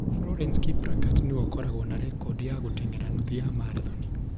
Florence Kiplagat nĩwe ũkoragwo na rekondi ya gũteng'era nuthu ya marathoni.